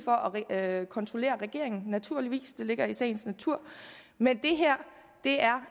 at kontrollere regeringen naturligvis det ligger i sagens natur men det her